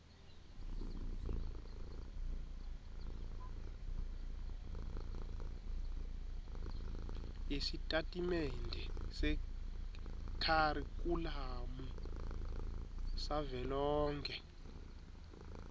yesitatimende sekharikhulamu savelonkhe